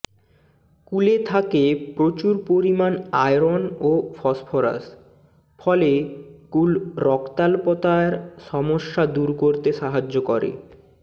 কুলে থাকে প্রচুর পরিমাণ আয়রন ও ফসফরাস ফলে কুল রক্তাল্পতার সমস্যা দূর করতে সাহায্য করে